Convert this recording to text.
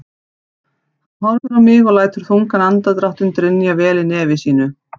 Hann horfir á mig og lætur þungan andardráttinn drynja vel í nefi sínu.